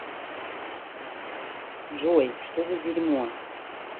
джой что за дерьмо